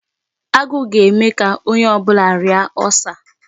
Agụụ ga-eme ka ónyé ọbụla rịara Ulcer.